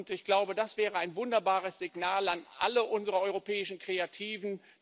Ich glaube, das wäre ein wunderbares Signal an alle unsere europäischen Kreativen.